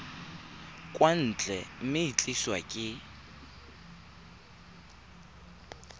kwa ntle mme e tliswa